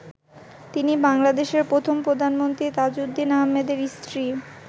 তিনি বাংলাদেশের প্রথম প্রধানমন্ত্রী তাজউদ্দিন আহমেদের স্ত্রী।